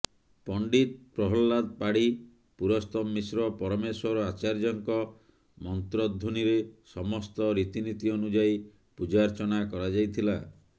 ପଣ୍ଡିତ ପ୍ରହଲ୍ଲାଦ ପାଢୀ ପୁରସ୍ତମ ମିଶ୍ର ପରମେଶ୍ୱର ଆର୍ଚାଯ୍ୟଙ୍କ ମନ୍ତ୍ରଧ୍ୱନୀରେ ସମସ୍ତ ରୀତିନୀତି ଅନୁଯାଇ ପୂଜାର୍ଚ୍ଚନା କରାଯାଇଥିଲା